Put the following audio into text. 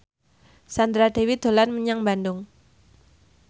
Sandra Dewi dolan menyang Bandung